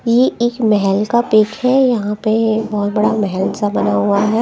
ये एक महल का पीक है यहां पे बहुत बड़ा मेहलसा बना हुआ है।